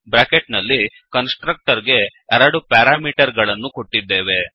bracket ನಲ್ಲಿ constructor ಗೆ ಎರಡು ಪ್ಯಾರಾಮೀಟರ್ ಗಳನ್ನು ಕೊಟ್ಟಿದ್ದೇವೆ